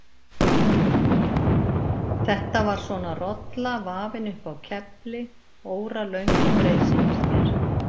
Þetta var svona rolla, vafin upp á kefli, óralöng og breið sýndist mér.